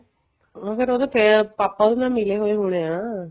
ਹਾਂ ਫ਼ੇਰ ਉਹਦੇ ਪਾਪਾ ਉਹਦੇ ਨਾਲ ਮਿਲੇ ਹੋਏ ਹੋਣੇ ਆ